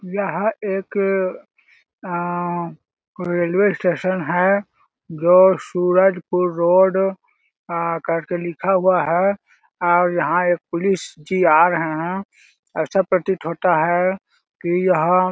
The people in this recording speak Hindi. यह एक एम म रेल्वे स्टेशन है जो सूरजपुर रोड आ कर के लिखा हुआ है और यहाँ एक पुलिस जी आ रहे है ऐसा प्रतीत होता है कि यह--